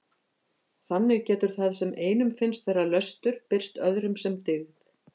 Þannig getur það sem einum finnst vera löstur birst öðrum sem dyggð.